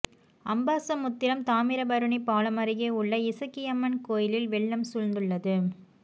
அம்பாசமுத்திரம் தாமிரவருணி பாலம் அருகே உள்ள இசக்கியம்மன் கோயிலில் வெள்ளம் சூழ்ந்துள்ளது